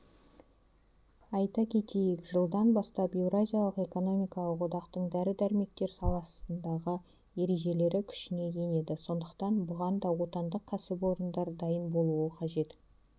айта кетейік жылдан бастап еуразиялық экономикалық одақтың дәрі-дәрмектер саласындағы ережелері күшіне енеді сондықтан бұған да отандық кәсіпорындар дайын болуы қажет